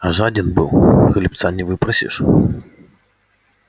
а жаден был хлебца не выпросишь